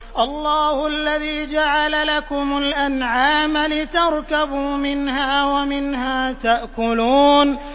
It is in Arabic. اللَّهُ الَّذِي جَعَلَ لَكُمُ الْأَنْعَامَ لِتَرْكَبُوا مِنْهَا وَمِنْهَا تَأْكُلُونَ